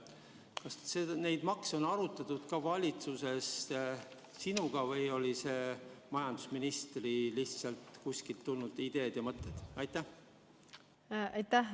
Kas neid makse on valitsuses arutatud ka sinuga või olid need lihtsalt majandusministri kuskilt tulnud mõtted?